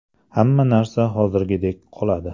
Hamma narsa hozirgidek qoladi.